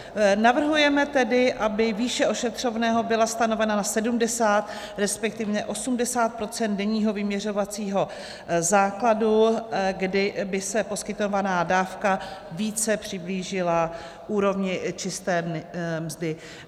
Navrhujeme tedy, aby výše ošetřovného byla stanovena na 70, respektive 80 % denního vyměřovacího základu, kdy by se poskytovaná dávka více přiblížila úrovni čisté mzdy.